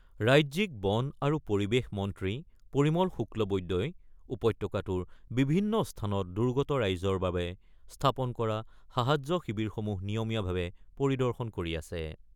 ৰাজ্যিক বন আৰু পৰিৱেশ মন্ত্ৰী পৰিমল শুক্লবৈদ্যই উপত্যকাটোৰ বিভিন্ন স্থানত দুৰ্গত ৰাইজৰ বাবে স্থাপন কৰা সাহায্য শিৱিৰসমূহ নিয়মীয়াভাৱে পৰিদৰ্শন কৰি আছে